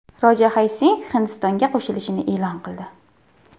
Roja Hay Singh Hindistonga qo‘shilishini e’lon qildi.